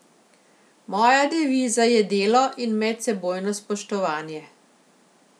Moja deviza je delo in medsebojno spoštovanje.